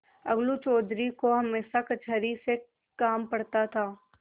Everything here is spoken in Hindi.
अलगू चौधरी को हमेशा कचहरी से काम पड़ता था